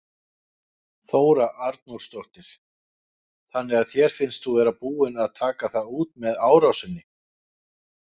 Þóra Arnórsdóttir: Þannig að þér finnst þú vera búinn að taka það út með árásinni?